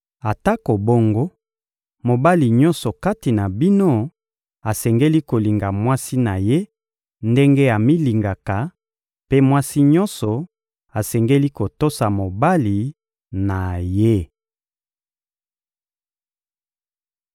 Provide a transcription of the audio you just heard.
Atako bongo, mobali nyonso kati na bino asengeli kolinga mwasi na ye ndenge amilingaka, mpe mwasi nyonso asengeli kotosa mobali na ye.